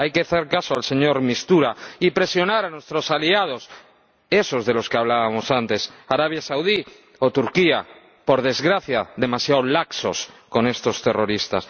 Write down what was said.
Hay que hacer caso al señor de Mistura y presionar a nuestros aliados, esos de los que hablábamos antes, Arabia Saudí o Turquía, por desgracia, demasiado laxos con estos terroristas.